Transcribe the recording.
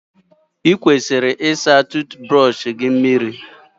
Ị kwesịrị ịsa nchicha eze gị mmiri.